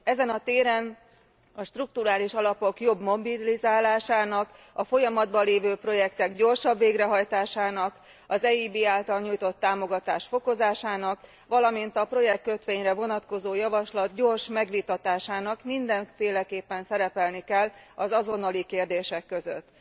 Ezen a téren a strukturális alapok jobb mobilizálásának, a folyamatban lévő projektek gyorsabb végrehajtásának, az EIB által nyújtott támogatás fokozásának, valamint a projektkötvényre vonatkozó javaslat gyors megvitatásának mindenféleképpen szerepelni kell az azonnali kérdések között.